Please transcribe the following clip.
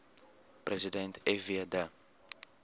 president fw de